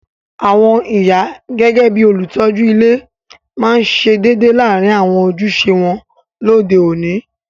Àwon ìyá gẹgẹ bi olùtójú ile ma se dédé láàrin àwon ojúse won lóde oni